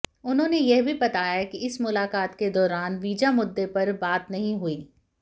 उन्होंने यह भी बताया कि इस मुलाकात के दौरान वीजा मुद्दे पर बात नहीं हुई